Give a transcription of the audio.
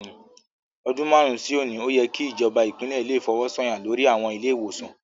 Ọdún márùn-ún sí òní, ó yẹ kí ìjọba Ìpínlẹ̀ le fọwọ́ sọ̀yà lori àwọn ilé-ìwòsàn